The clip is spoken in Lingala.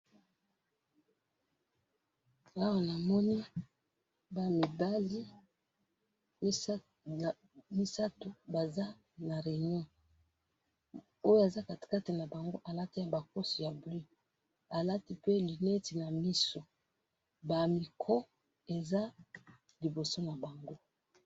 Awa namoni bana yamibali misatu, Baza na reunion, oyo aza katikati nabango alati abakose ya bleue, ba micros iza liboso nabango.